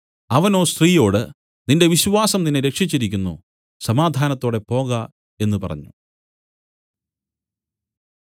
അവനോ സ്ത്രീയോട് നിന്റെ വിശ്വാസം നിന്നെ രക്ഷിച്ചിരിക്കുന്നു സമാധാനത്തോടെ പോക എന്നു പറഞ്ഞു